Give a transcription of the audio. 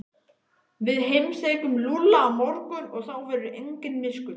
Við heimsækjum Lúlla á morgun og þá verður engin miskunn.